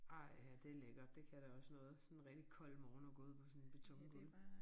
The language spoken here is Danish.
Ej ja det lækkert det kan da også noget sådan en rigtig kold morgen at gå ud på sådan et betongulv